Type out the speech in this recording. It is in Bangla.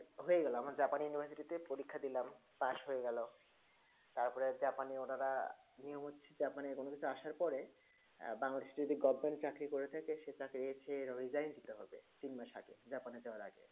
হয়ে গেলাম আমি japan university তে পরীক্ষা দিলাম পাস হয়ে গেলো তার পরে অর্ডার নিয়ম হচ্ছে জাপানে কোনো কিছু আসার পরে বাংলাদেশে যদি goverment এ চাকরি করিতেছে সেই চাকরি কে দিতে হবে তিন মাস আগে জাপানে যাবার আসে